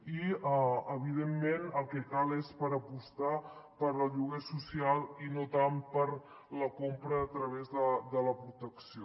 i evidentment el que cal és apostar pel lloguer social i no tant per la compra a través de la protecció